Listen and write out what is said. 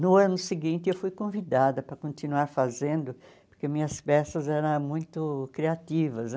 No ano seguinte, eu fui convidada para continuar fazendo, porque minhas peças eram muito criativas.